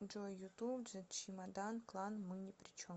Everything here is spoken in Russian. джой ютуб зе чемодан клан мы ни при чем